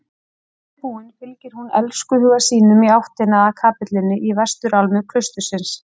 Þannig búin fylgir hún elskhuga sínum í áttina að kapellunni í vesturálmu klaustursins.